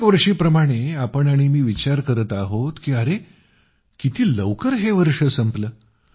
प्रत्येकवर्षी प्रमाणेच आपण आणि मी विचार करत आहोत की अरे किती लवकर हे वर्ष संपलं